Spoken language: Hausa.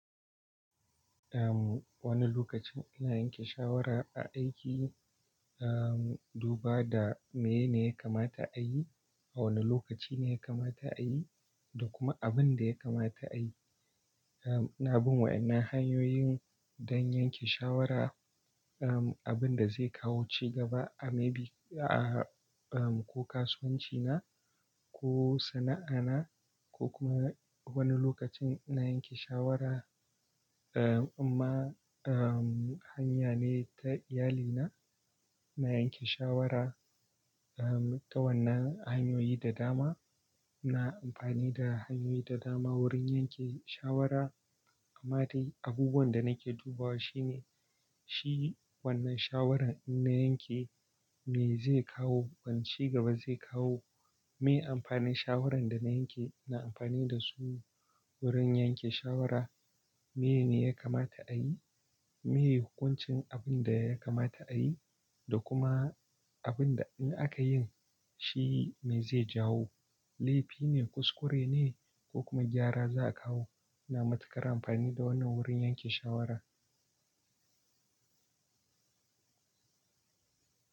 Uhm, wani lokacin ina yanke shawara a aiki, uhm, duba da mene ne ya kamata a yi, a wane lokaci ne ya kamata a yi da kuma abin da ya kamata a yi. Uhm, na bi wa'yannan hanyoyin don yanke shawara, uhm, abin da zai kawo cigaba a maybe a, uhm, ko kasuwanci na ko sana'a na ko kuma wani lokacin ina yanke shawara, uhm, amma, uhm, hanya ne ta iyalina. Na yanke shawara, uhm, ta wannan hanyoyi da dama. Na amfani da hanyoyi da dama wurin yanke shawara. Amma dai abubuwan da nake dubawa shine, shi wannan shawarar ina yanke me zai kawo wanu cigaba zai kawo, me amfanin shawarar da na yanke, na amfani da su wurin yanke shawara. Mene ya kamata a yi, me hukuncin abin da ya kamata a yi da kuma abin da in aka yin shi me zai jawo. Laifi ne, kuskure ne ko kuma gyara za a kawo. Ina matuƙar amfani da wannan wurin yanke shawara.